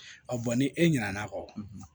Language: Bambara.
ni e ɲinɛna kɔ